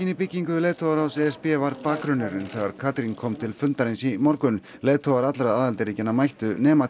í byggingu leiðtogaráðs e s b var bakgrunnurinn þegar Katrín kom til fundarins í morgun leiðtogar allra aðildarríkjanna mættu nema